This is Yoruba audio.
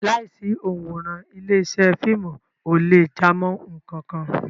Láìsí òǹwòran, ilé-iṣẹ́ fíìmù ò lè jámọ́ nǹkan kan.